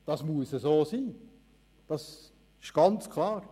Das muss so sein, das ist ganz klar.